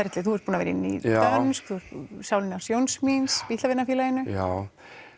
í Nýdönsk þú ert búinn að vera í sálinni hans Jóns míns Bítlavinafélaginu já